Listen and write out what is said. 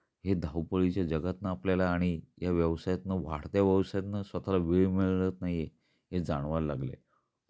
हे धावपळीच्या जगातन आपल्याला आणि या व्यवसायातन, वाढत्या व्यवसायातन स्वतःला वेळ मिळत नाही आहे, हे जाणवायला लागल आहे.